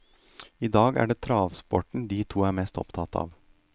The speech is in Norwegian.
I dag er det travsporten de to er mest opptatt av.